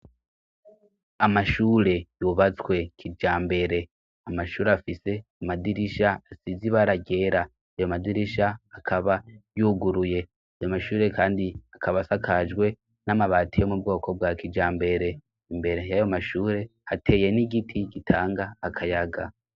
Amashure yubatswe kija mbere amashure afise amadirisha asize ibaragera ayo madirisha akaba yuguruye ayo mashure, kandi akabasakajwe n'amabati yo mu bwoko bwa kija mbere imbere y'ayo mashure hateye n'igiti gitanga akayaga.